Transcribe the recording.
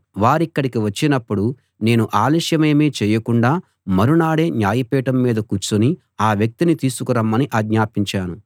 వారిక్కడికి వచ్చినప్పుడు నేను ఆలస్యమేమీ చేయకుండా మరునాడే న్యాయపీఠం మీద కూర్చుని ఆ వ్యక్తిని తీసుకురమ్మని ఆజ్ఞాపించాను